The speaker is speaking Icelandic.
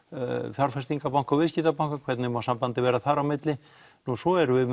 fjárfestingabanka og viðskiptabanka hvernig má sambandið vera þar á milli nú svo erum við